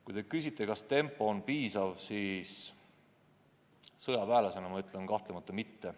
Kui te küsite, kas tempo on piisav, siis sõjaväelasena ma ütlen, et kahtlemata mitte.